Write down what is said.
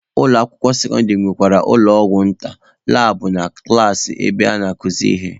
Ụlọ akwụkwọ sekọndịrị nwekwara ụlọ ọgwụ nta, labụ na klaasị ebe a na-akuzi ihe.